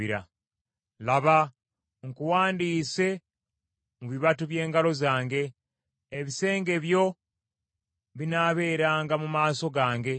Laba, nkuwandiise mu bibatu by’engalo zange; ebisenge byo binaabeeranga mu maaso gange.